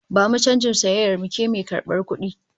Bamu canjin sayayyar mu, ke mai karbar kudi!